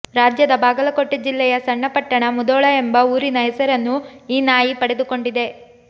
ರಾಜ್ಯದ ಬಾಗಲಕೋಟೆ ಜಿಲ್ಲೆಯ ಸಣ್ಣ ಪಟ್ಟಣ ಮುಧೋಳ ಎಂಬ ಊರಿನ ಹೆಸರನ್ನು ಈ ನಾಯಿ ಪಡೆದುಕೊಂಡಿದೆ